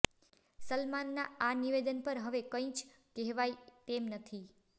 સલમાનના આ નિવેદન પર હવે કઈ જ કેહવાઇ તેમ નથી